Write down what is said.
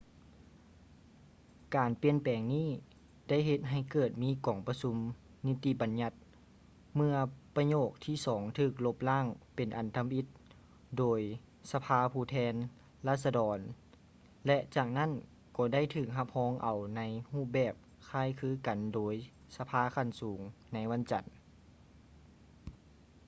ການປ່ຽນແປງນີ້ໄດ້ເຮັດໃຫ້ເກີດມີກອງປະຊຸມນິຕິບັນຍັດເມື່ອປະໂຫຍກທີສອງຖືກລົບລ້າງເປັນອັນທຳອິດໂດຍສະພາຜູ້ແທນລາຊະດອນ ແລະ ຈາກນັ້ນກໍໄດ້ຖືກຮັບຮອງເອົາໃນຮູບແບບຄ້າຍຄືກັນໂດຍສະພາຂັ້ນສູງໃນວັນຈັນ